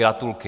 Gratulky.